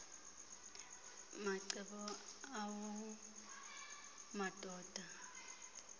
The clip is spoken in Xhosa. macebo awu madoda